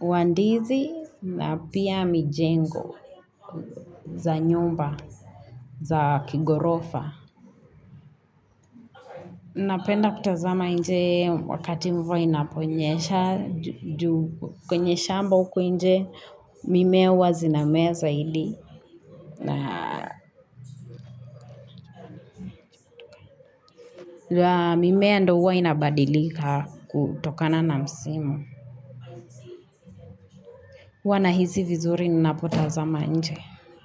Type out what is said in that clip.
wa ndizi na pia mijengo za nyumba, za kighorofa. Napenda kutazama nje wakati mvua inaponyesha, juu kwenye shamba huku nje mimea huazinamea zaidi na mimea ndio huwa inabadilika kutokana na msimu. Hua nahisi vizuri ninapotazama nje.